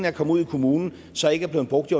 er kommet ud i kommunen så ikke blevet brugt i